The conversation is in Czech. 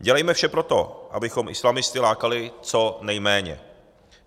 Dělejme vše pro to, abychom islamisty lákali co nejméně.